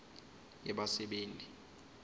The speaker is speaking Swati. yebasebenti